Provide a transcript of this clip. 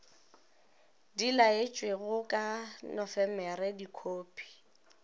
di laetšwego ka nofemere dikhophi